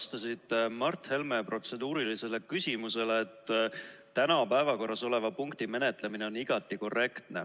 Te vastasite Mart Helme protseduurilisele küsimusele, et täna päevakorras oleva punkti menetlemine on igati korrektne.